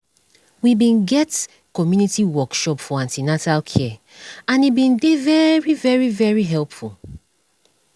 we bin get community workshop for an ten atal care and e bin dey very very very helpful